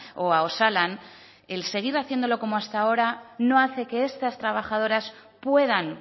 o a osalan el seguir haciéndolo como hasta ahora no hace que estas trabajadoras puedan